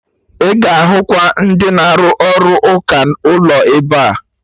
Ị ga-ahụ kwa ndị na-arụ ọrụ ụka ụlọ ebea